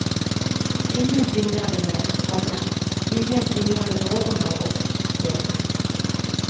Ingen tvingade mig, komma ingen tvingade någon av oss. punkt